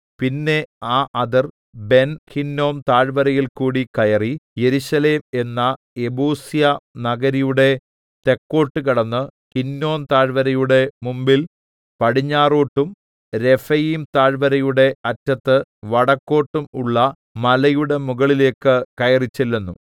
പിന്നെ ആ അതിർ ബെൻഹിന്നോം താഴ്വരയിൽകൂടി കയറി യെരൂശലേം എന്ന യെബൂസ്യനഗരിയുടെ തെക്കോട്ട് കടന്ന് ഹിന്നോം താഴ്‌വരയുടെ മുമ്പിൽ പടിഞ്ഞാറോട്ടും രെഫയീം താഴ്‌വരയുടെ അറ്റത്ത് വടക്കോട്ടും ഉള്ള മലയുടെ മുകളിലേക്ക് കയറിച്ചെല്ലുന്നു